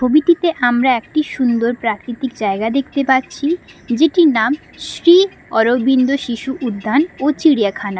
ছবিটিতে আমরা একটি সুন্দর প্রাকৃতিক জায়গা দেখতে পাচ্ছি যেটির নাম শ্রী অরবিন্দ শিশু উদ্যান ও চিড়িয়াখানা।